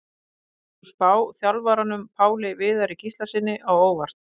Kemur sú spá þjálfaranum Páli Viðari Gíslasyni á óvart?